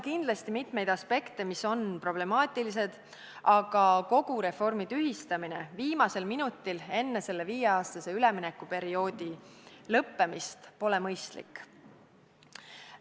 Kindlasti on mitmeid aspekte, mis on problemaatilised, aga kogu reformi tühistamine viimasel minutil enne viie aasta pikkuse üleminekuperioodi lõppemist pole mõistlik.